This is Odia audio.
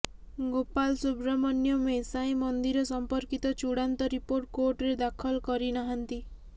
ଗୋପାଲ ସୁବ୍ରମଣ୍ୟମ ଏ ସାଏଁ ମନ୍ଦିର ସଂପର୍କୀତ ଚୁଡାନ୍ତ ରିପୋର୍ଟ କୋର୍ଟରେ ଦାଖଲ କରି ନାହାନ୍ତି